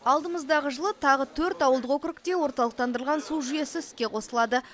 алдымыздағы жылы тағы төрт ауылдық округте орталықтандырылған су жүйесі іске қосылады